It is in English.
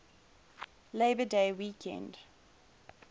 labor day weekend